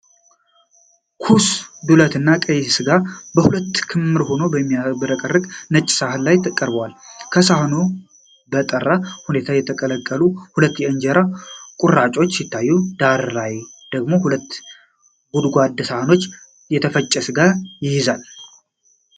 ኩስ ዱለትና ቀይሥጋ በሁለት ክምር ሆኖ በሚያብረቀርቅ ነጭ ሳህን ላይ ተቀርቧል። ከጎኑ በጠራ ሁኔታ የተጠቀለሉ ሁለት የእንጀራ ቁራጮች ሲታዩ፣ ዳራ ላይ ደግሞ ሁለት ጎድጓዳ ሳህኖች የተፈጨ ሥጋ ይይዛሉ።